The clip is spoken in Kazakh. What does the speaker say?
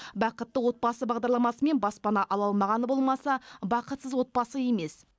бақытты отбасы бағдарламасымен баспана ала алмағаны болмаса бақытсыз отбасы емес